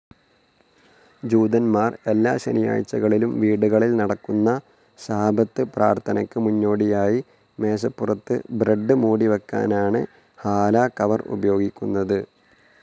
ജൂതന്മാർ എല്ലാ ശനിയാഴ്ചകളിലും വീടുകളിൽ നടക്കുന്ന ശാബത്ത് പ്രാർഥനയ്ക്ക് മുന്നോടിയായി മേശപ്പുറത്ത് ബ്രെഡ്‌ മൂടിവയ്ക്കാനാണ് ഹാലാ കവർ ഉപയോഗിക്കുന്നത്.